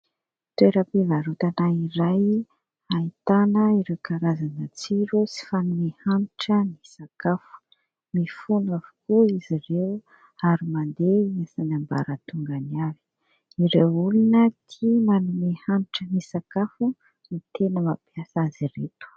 Toeram-pivarotana iray ahitana ireo karazana tsiro sy fanome hanitra ny sakafo. Mifono avokoa izy ireo ary mandeha isan'ambaratongany avy. Ireo olona tia manome hanitra ny sakafo no tena mampiasa azy ireto.